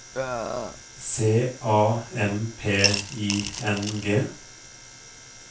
C A M P I N G